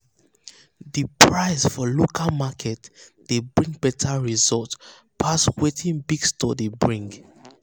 to price for local market dey bring better result pass wetin big stores dey bring.